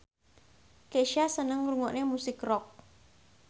Kesha seneng ngrungokne musik rock